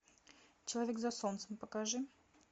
человек за солнцем покажи